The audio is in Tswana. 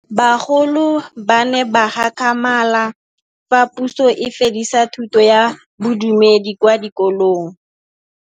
Bagolo ba ne ba gakgamala fa Pusô e fedisa thutô ya Bodumedi kwa dikolong.